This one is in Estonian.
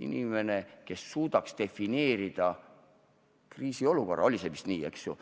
inimene, kes suudab defineerida kriisiolukorra – oli see vist nii, eks ju?